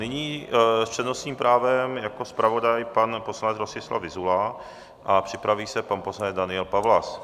Nyní s přednostním právem jako zpravodaj pan poslanec Rostislav Vyzula a připraví se pan poslanec Daniel Pawlas.